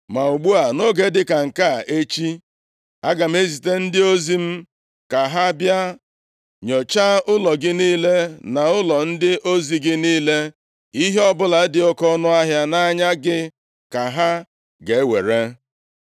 Ma ugbu a, nʼoge dị ka nke a, echi, aga m ezite ndị ozi m ka ha bịa nyochaa ụlọ gị niile na ụlọ ndị ozi gị niile. Ihe ọbụla dị oke ọnụahịa nʼanya gị ka ha ga-ewere.’ ”